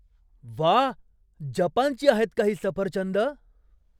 वा! जपानची आहेत का ही सफरचंदं?